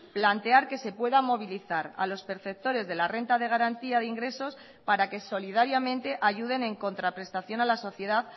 plantear que se pueda movilizar a los perceptores de la renta de garantía de ingresos para que solidariamente ayuden en contraprestación a la sociedad